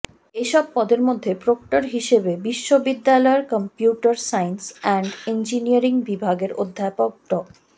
এসব পদের মধ্যে প্রক্টর হিসেবে বিশ্ববিদ্যালয়ের কম্পিউটার সায়েন্স অ্যান্ড ইঞ্জিনিয়ারিং বিভাগের অধ্যাপক ড